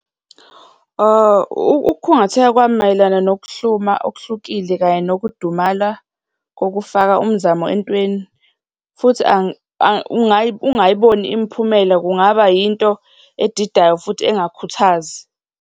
Ukukhungatheka kwami mayelana nokuhluma okuhlukile kanye nokudumala kokufaka umzamo entweni, futhi ungayiboni imiphumela kungaba yinto edidayo futhi engakhuthazi.